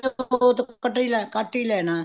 ਉਹ ਕੱਟ ਹੀ ਲੈਣਾ